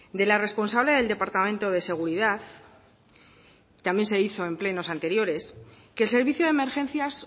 de la responsable del departamento de seguridad también se hizo en plenos anteriores que el servicio de emergencias